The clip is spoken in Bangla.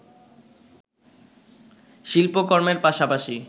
শিল্পকর্মের পাশাপাশি